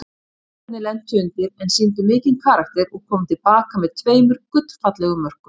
Blikarnir lentu undir en sýndu mikinn karakter og komu til baka með tveimur gullfallegum mörkum.